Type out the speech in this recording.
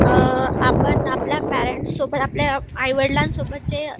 अ आपण आपल्या पेरेंट सोबत आपल्या आईवडिलांसोबत जे